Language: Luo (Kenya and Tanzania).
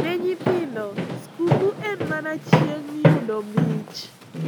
Ne nyithindo, skuku en mana chieng` yudo mich.